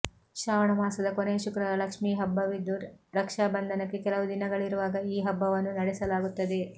ಶ್ರಾವಣ ಮಾಸದ ಕೊನೆಯ ಶುಕ್ರವಾರ ಲಕ್ಷ್ಮೀ ಹಬ್ಬವಿದ್ದು ರಕ್ಷಾ ಬಂಧನಕ್ಕೆ ಕೆಲವು ದಿನಗಳಿರುವಾಗ ಈ ಹಬ್ಬವನ್ನು ನಡೆಸಲಾಗುತ್ತದೆ